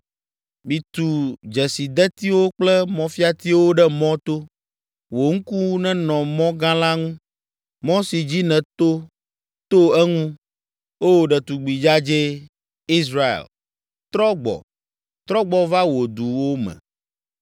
“Mitu dzesidetiwo kple mɔfiatiwo ɖe mɔto. Wò ŋku nenɔ mɔ gã la ŋu, mɔ si dzi nèto to eŋu. O, ɖetugbi dzadzɛ, Israel, trɔ gbɔ, trɔ gbɔ va wò duwo me.